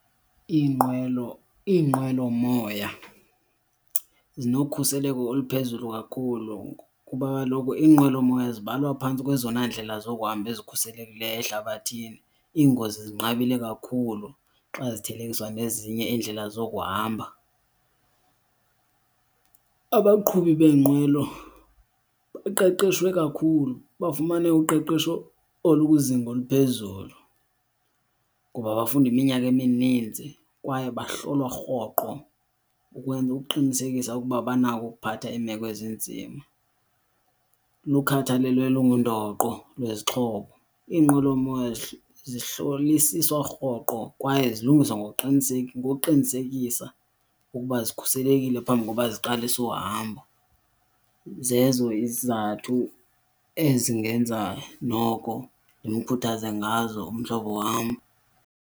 Iinqwelo, iinqwelomoya zinokhuseleko oluphezulu kakhulu kuba kaloku inqwelomoya zibalwa phantsi kwezona ndlela zokuhamba ezikhuselekileyo ehlabathini, iingozi zinqabile kakhulu xa zithelekiswa nezinye iindlela zokuhamba. Abaqhubi beenqwelo baqeqeshwe kakhulu, bafumane uqeqesho olukwizinga oluphezulu, ngoba bafunda iminyaka emininzi kwaye bahlolwa rhoqo ukwenza, ukuqinisekisa ukuba banako ukuphatha iimeko ezinzima, lukhathalelo olungundoqo lwezixhobo. Iinqwelomoya zihlolisiswa rhoqo kwaye zilungiswa ngokuqinisekisa ukuba zikhuselekile phambi koba ziqalise uhamba. Zezo izizathu ezingenza noko ndimkhuthaze ngazo umhlobo wam.